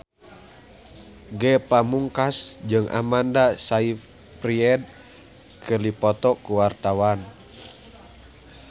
Ge Pamungkas jeung Amanda Sayfried keur dipoto ku wartawan